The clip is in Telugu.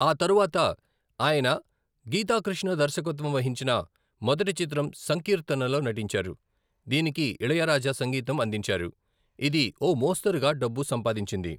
ఆ తరువాత, ఆయన గీతాకృష్ణ దర్శకత్వం వహించిన మొదటి చిత్రం సంకీర్తనలో నటించారు, దీనికి ఇళయరాజా సంగీతం అందించారు, ఇది ఓ మోస్తరుగా డబ్బు సంపాదించింది.